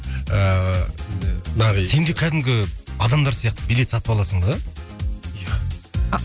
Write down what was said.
ыыы нағи сенде кәдімгі адамдар сияқты билет сатып аласың ба